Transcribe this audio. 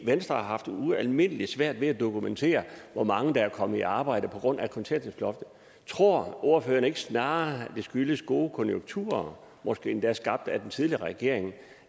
venstre har haft ualmindelig svært ved at dokumentere hvor mange der er kommet i arbejde på grund af kontanthjælpsloftet tror ordføreren ikke snarere at det skyldes gode konjunkturer måske endda skabt af den tidligere regering